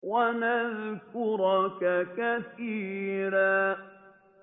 وَنَذْكُرَكَ كَثِيرًا